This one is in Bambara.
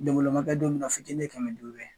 Donbolo ma kɛ don mina o fitini ye kɛmɛ duuru ye.